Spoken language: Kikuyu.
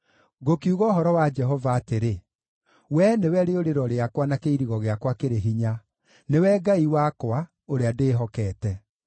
Ngũkiuga ũhoro wa Jehova atĩrĩ, “Wee nĩwe rĩũrĩro rĩakwa na kĩirigo gĩakwa kĩrĩ hinya, nĩwe Ngai wakwa, ũrĩa ndĩĩhokete.”